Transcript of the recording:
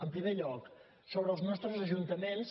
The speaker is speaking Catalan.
en primer lloc sobre els nostres ajuntaments